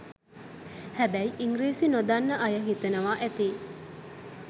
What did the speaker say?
හැබැයි ඉංගිරිසි නොදන්න අය හිතනවා ඇති